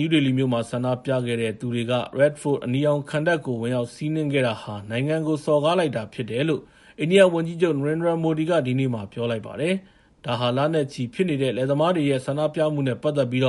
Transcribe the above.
ယူးဒေလီမြို့မှာ ဆန္ဒပြတဲ့သူတွေက Red Fort အနီရောင်ခံတပ်ကို ဝင်ရောက်စီးနင်းခဲ့တာဟာ နိုင်ငံကို စော်ကားလိုက်တာဖြစ်တယ်လို့ အိန္ဒိယဝန်ကြီးချုပ် Narendra Modi က ဒီနေ့ ပြောလိုက်ပါတယ်။ ဒါဟာ လနဲ့ချီပြီဖြစ်နေတဲ့ လယ်သမားတွေရဲ့ ဆန္ဒပြမှုနဲ့ပတ်သက်ပြီး